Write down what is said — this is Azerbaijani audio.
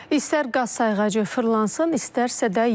İstər qaz sayğacı fırlansın, istərsə də yox.